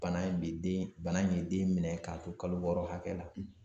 Bana in bɛ den, bana in ye den minɛ k'a to kalo wɔɔrɔ hakɛ la